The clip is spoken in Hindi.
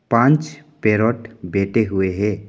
पांच पैरट बैठे हुए हैं।